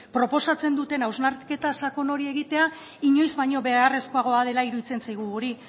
proposatzen duten hausnarketa sakon hori egitea inoiz baino beharrezkoagoa dela iruditzen zaigu guri